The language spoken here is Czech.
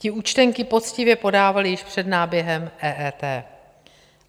Ti účtenky poctivě podávali již před náběhem EET.